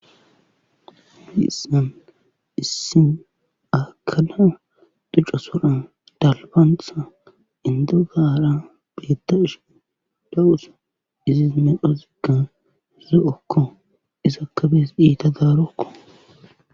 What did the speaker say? Hayssan issi akada duca soran dalbanththa indagaara beettishin dawusa izis medhozigan zo7okko izaka bees iita daarokko.